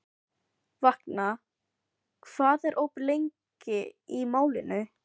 Vagna, hvað er opið lengi í Málinu?